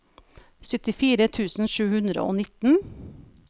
syttifire tusen sju hundre og nitten